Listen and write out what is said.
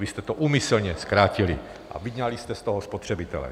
Vy jste to úmyslně zkrátili a vyňali jste z toho spotřebitele.